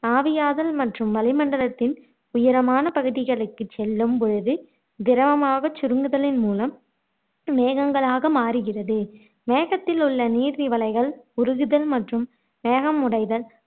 ஆவியாதல் மற்றும் வளிமண்டலத்தின் உயரமான பகுதிகளுக்குச் செல்லும் பொழுது திரவமாகச் சுருங்குதலின் மூலம் மேகங்களாக மாறுகிறது மேகத்தில் உள்ள நீர் திவலைகள் உருகுதல் மற்றும் மேகம் உடைதல்